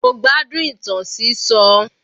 Mo gbádùn ìtàn sísọ.